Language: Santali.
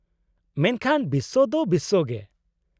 -ᱢᱮᱱᱠᱷᱟᱱ ᱵᱤᱥᱥᱚ ᱫᱚ ᱵᱤᱥᱥᱚ ᱜᱮ ᱾